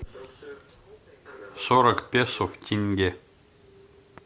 сорок песо в тенге